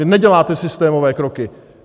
Vy neděláte systémové kroky.